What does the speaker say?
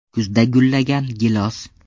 Kuzda gullagan gilos.